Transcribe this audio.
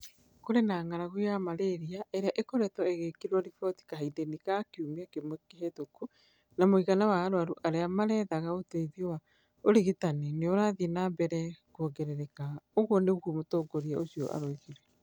"Kũrĩ na ng'aragu ya malaria ĩrĩa ĩkoretwo ĩgĩkĩrwo riboti kahindainĩ ka kiumia kĩmwe kĩhĩtũku na mũigana wa arwaru arĩa marethaga ũteithio wa ũrigitani nĩ ũrathiĩ na mbere kuongerereka, " ũguo nĩguo mũtongoria ũcio oigire.